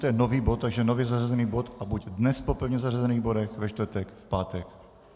To je nový bod, takže nově zařazený bod, a buď dnes po pevně zařazených bodech, ve čtvrtek, v pátek?